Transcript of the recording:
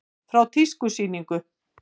Frá tískusýningu.